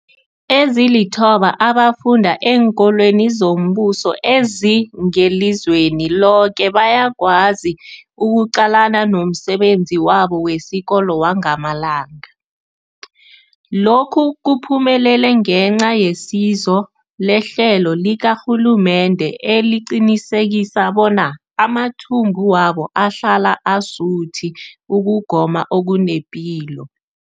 Ezilithoba abafunda eenkolweni zombuso ezingelizweni loke bayakwazi ukuqalana nomsebenzi wabo wesikolo wangamalanga. Lokhu kuphumelele ngenca yesizo lehlelo likarhulumende eliqinisekisa bona amathumbu wabo ahlala asuthi ukugoma okunepilo.